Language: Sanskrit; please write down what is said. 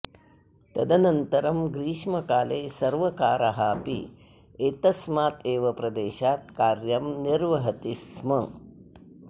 तदनन्तरं ग्रीष्मकाले सर्वकारः अपि एतस्माद् एव प्रदेशात् कार्यं निर्वहति स्म